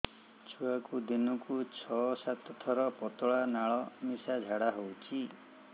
ଛୁଆକୁ ଦିନକୁ ଛଅ ସାତ ଥର ପତଳା ନାଳ ମିଶା ଝାଡ଼ା ହଉଚି